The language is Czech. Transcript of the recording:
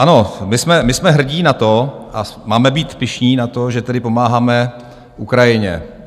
Ano, my jsme hrdí na to a máme být pyšní na to, že tedy pomáháme Ukrajině.